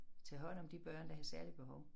Tage hånd om de børn der havde særlige behov